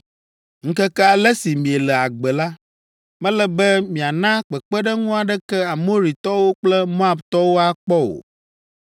Ŋkeke ale si miele agbe la, mele be miana kpekpeɖeŋu aɖeke Amoritɔwo kple Moabtɔwo akpɔ o.